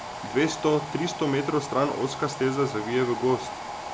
Dvesto, tristo metrov stran ozka steza zavije v gozd.